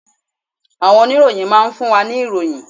Àwọn oníròyìn máa ń fún wa ní ìròyìn.